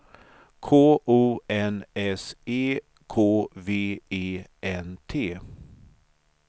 K O N S E K V E N T